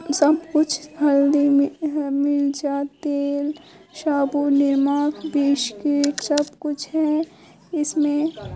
सब कुछ हल्दी है मिर्चा तेल साबुन निमक बिस्किट सब कुछ है इसमें --